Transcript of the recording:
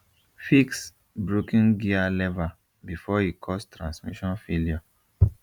fix broken gear lever before e cause transmission failure